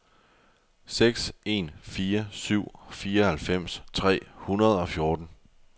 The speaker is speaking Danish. seks en fire syv fireoghalvfems tre hundrede og fjorten